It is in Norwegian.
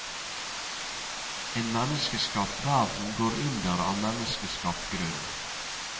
En menneskeskapt verden går under av menneskeskapt grunn.